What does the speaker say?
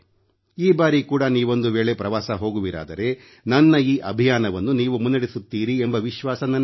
ಈ ಬಾರಿ ಕೂಡ ನೀವೊಂದು ವೇಳೆ ಪ್ರವಾಸ ಹೋಗುವಿರಾದರೆ ನನ್ನ ಈ ಅಭಿಯಾನವನ್ನು ನೀವು ಮುನ್ನಡೆಸುತ್ತೀರಿ ಎಂಬ ವಿಶ್ವಾಸ ನನಗಿದೆ